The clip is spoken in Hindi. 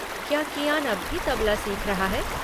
क्या कियान अब भी तबला सीख रहा है?